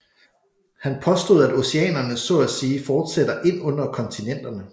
Han påstod at oceanerne så at sige fortsætter ind under kontinenterne